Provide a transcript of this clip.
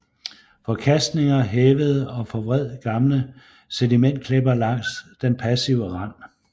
Forkastninger hævede og forvred gamle sedimentklipper langs den passive rand